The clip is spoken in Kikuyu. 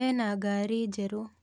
Ena ngaari njerũ.